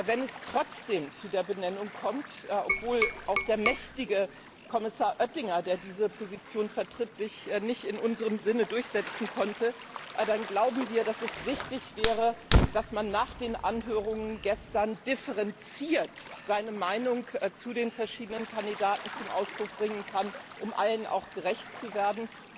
Wenn es trotzdem zu der Benennung kommt, obwohl auch der mächtige Kommissar Oettinger, der diese Position vertritt, sich nicht in unserem Sinne durchsetzen konnte, dann glauben wir, dass es wichtig wäre, dass man nach den Anhörungen gestern differenziert seine Meinung zu den verschiedenen Kandidaten zum Ausdruck bringen kann, um auch allen gerecht zu werden.